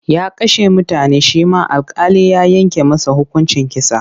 Ya kashe mutane shi ma alƙali ya yanke masa hukuncin kisa.